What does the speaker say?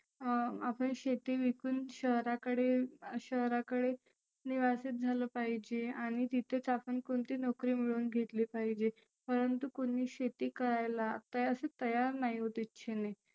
अं आपण शेती विकुन शहराकडे शहराकडे निवासीत झालं पाहीजे. आणि तिथेच आपण कोणती नोकरी मिळुन घेतली पाहीजे. परंतु कोणी शेती करायला असं तयार नाही होत इच्छेने.